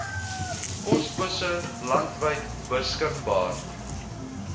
posbusse landwyd beskikbaar